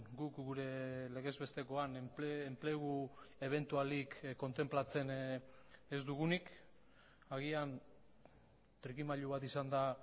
guk gure legez bestekoan enplegu ebentualik kontenplatzen ez dugunik agian trikimailu bat izan da